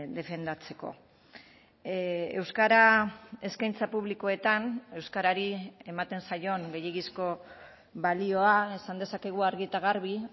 defendatzeko euskara eskaintza publikoetan euskarari ematen zaion gehiegizko balioa esan dezakegu argi eta garbi